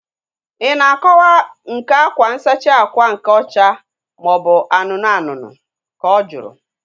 Ị na akọwa nke akwa nsachi ákwà nke ọcha maobu anụnụ anụnụ? Ka ọ jụrụ